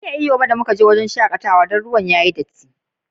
Ban iya na yi iyo ranan da mun ziyace wurin shakatawan Dan ruwan yayi datti.